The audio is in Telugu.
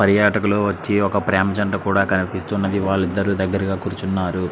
పర్యాటకులు ప్రేమ జంట కనిపిస్తుంది. వాలు పక్కన కూర్చొని ఉన్నారు.